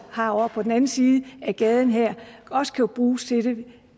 har ovre på den anden side af gaden her også kan bruges til det